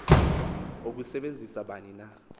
ukusebenzisa bani na